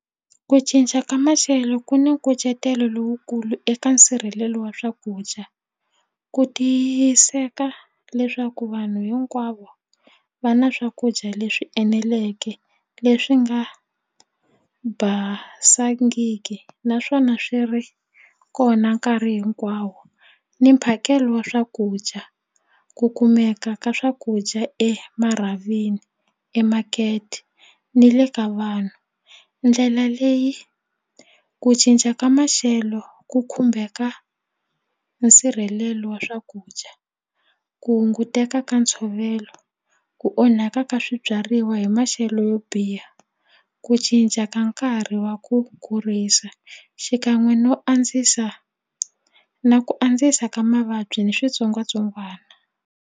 Ku cinca ka maxelo ku ni nkucetelo lowukulu eka nsirhelelo wa swakudya ku tiyiseka leswaku vanhu hinkwavo va na swakudya leswi eneleke leswi nga basangiki naswona swi ri kona nkarhi hinkwawo ni mphakelo wa swakudya ku kumeka ka swakudya emarhavini emakete ni le ka vanhu ndlela leyi ku cinca ka maxelo ku khumbeka nsirhelelo wa swakudya ku hunguteka ka ntshovelo ku onhaka ka swibyariwa hi maxelo yo biha ku cinca ka nkarhi wa ku kurisa xikan'we no andzisa na ku andzisa ka mavabyi ni switsongwatsongwana.